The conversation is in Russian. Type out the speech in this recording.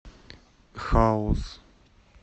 хаус